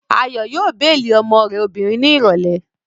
Ayọ̀ yóò béèlì ọmọ rẹ̀ obìnrin ní ìrọ̀lẹ́